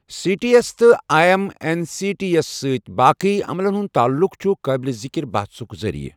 C T S تہٕ I M N C T S سۭتۍ باقی عملن ہُنٛد تعلُق چھُ قٲبِل ذکر بحثُک ذریعہِ۔